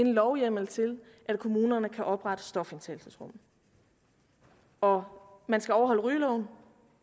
en lovhjemmel til at kommunerne kan oprette stofindtagelsesrum og man skal overholde rygeloven